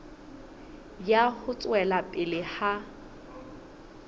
ya ho tswela pele ha